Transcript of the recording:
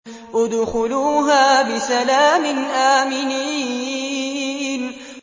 ادْخُلُوهَا بِسَلَامٍ آمِنِينَ